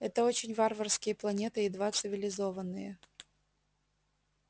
это очень варварские планеты едва цивилизованные